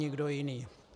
Nikdo jiný.